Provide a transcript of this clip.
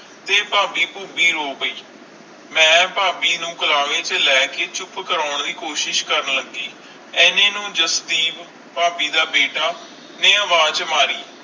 ਤੇ ਭਾਭੀ ਪਹੁਬੀ ਰੋ ਪੈ ਮਈ ਭਾਭੀ ਨੂੰ ਕਰਾਰੀ ਚ ਲੈ ਕੇ ਚੁੱਪ ਕਰਨ ਲੱਗੀ ਏਨੇ ਚ ਜਸਵੀਪ ਭਾਭੀ ਦਾ ਬੇਟਾ ਨੇ ਆਵਾਜ਼ ਮਾਰੀ